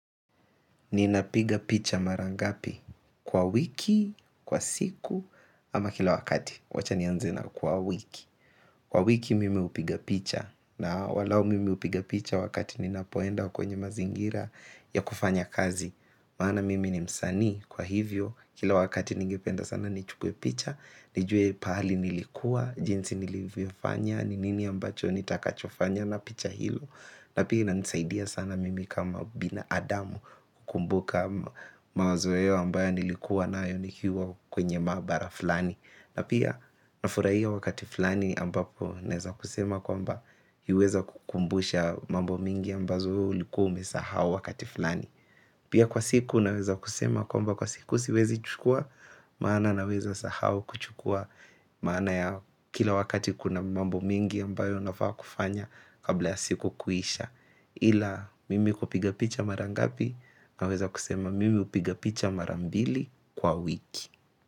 Ninapiga picha mara ngapi kwa wiki, kwa siku, ama kila wakati wacha nianze na kwa wiki. Kwa wiki mimi hupiga picha na walai mimi hupiga picha wakati ninapoenda kwenye mazingira ya kufanya kazi maana mimi ni msanii kwa hivyo kila wakati ningependa sana nichukue picha. Nijue pahali nilikuwa, jinsi nilivyofanya ni nini ambacho nitakapofanya na picha hizo na pia inanisaidia sana mimi kama binadamu kukumbuka mawazo hiyo ambayo nilikuwa nayo nikiwa kwenye maabara fulani. Na pia nafurahia wakati fulani ambapo naweza kusema kwamba iliweza kukumbusha mambo mingi ambazo wewe ulikuwa umesahau wakati fulani. Pia kwa siku naweza kusema kwamba kwa siku siwezi chukua maana naweza sahau kuchukua maana ya kila wakati kuna mambo mingi ambayo nafaa kufanya kabla ya siku kuisha ila mimi kupiga picha mara ngapi naweza kusema mimi hupiga picha mara mbili kwa wiki.